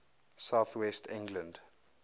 south west england